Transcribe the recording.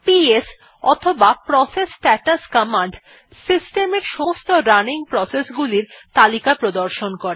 PS অথবা process status command system এর সমস্ত রানিং প্রসেস গুলির তালিকা প্রদর্শন করে